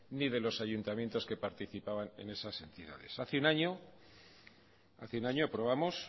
ni de los ayuntamientos que participaban en esas entidades hace un año aprobamos